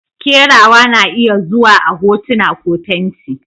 Kerawa na iya zuwa a hotuna ko fenti.